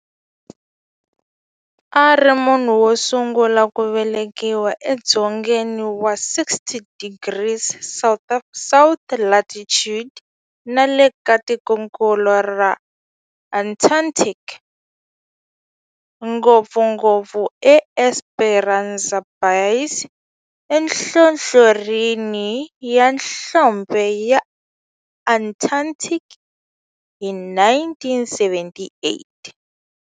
A ri munhu wosungula ku velekiwa edzongeni wa 60 degrees south latitude nale ka tikonkulu ra Antarctic, ngopfungopfu eEsperanza Base enhlohlorhini ya nhlonhle ya Antarctic hi 1978.